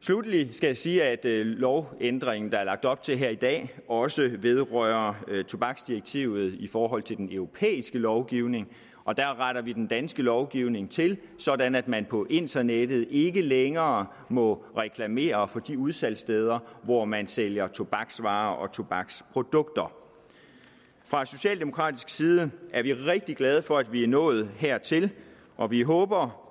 sluttelig skal jeg sige at lovændringen der er lagt op til her i dag også vedrører tobaksdirektivet i forhold til den europæiske lovgivning og der retter vi den danske lovgivning til sådan at man på internettet ikke længere må reklamere for de udsalgssteder hvor man sælger tobaksvarer og tobaksprodukter fra socialdemokratisk side er vi rigtig glade for at vi er nået hertil og vi håber